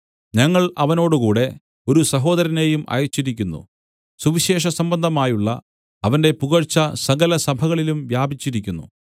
ഞങ്ങൾ അവനോടുകൂടെ ഒരു സഹോദരനെയും അയച്ചിരിക്കുന്നു സുവിശേഷസംബന്ധമായുള്ള അവന്റെ പുകഴ്ച സകലസഭകളിലും വ്യാപിച്ചിരിക്കുന്നു